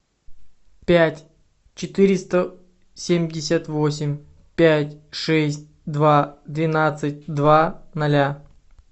пять четыреста семьдесят восемь пять шесть два двенадцать два ноля